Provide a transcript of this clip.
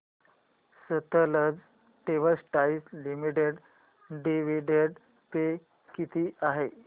Sutlej textiles limited dividend pay किती आहे